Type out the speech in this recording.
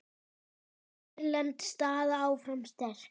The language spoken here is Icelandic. Hrein erlend staða áfram sterk.